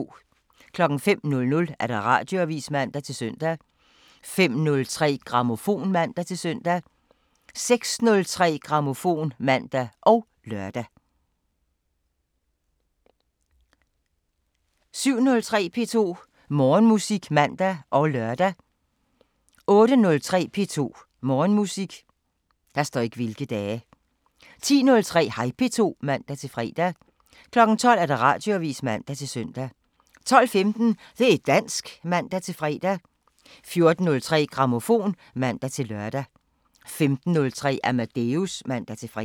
05:00: Radioavisen (man-søn) 05:03: Grammofon (man-søn) 06:03: Grammofon (man og lør) 07:03: P2 Morgenmusik (man og lør) 08:03: P2 Morgenmusik 10:03: Hej P2 (man-fre) 12:00: Radioavisen (man-søn) 12:15: Det' dansk (man-fre) 14:03: Grammofon (man-lør) 15:03: Amadeus (man-fre)